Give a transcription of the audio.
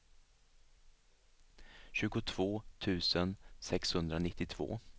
tjugotvå tusen sexhundranittiotvå